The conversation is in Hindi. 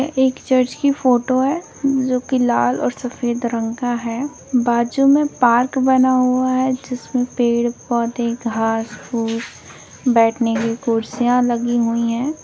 एक चर्च की फोटो है जो की लाल और सफेद रंग का है बाजु में पार्क बना हुआ है जिसमें पेड़ पौधे घास फुस बैठने के कुर्सियां लगी हुई है।